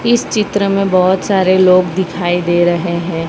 इस चित्र में बहोत सारे लोग दिखाई दे रहे है।